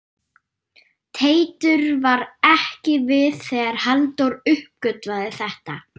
Teitur var ekki við þegar Halldór uppgötvaði þetta.